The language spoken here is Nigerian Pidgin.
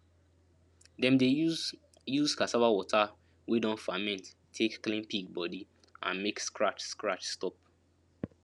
dem dey use use cassava water wey don ferment take clean pig body and make scratch scratch stop